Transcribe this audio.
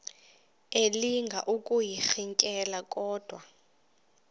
elinga ukuyirintyela kodwa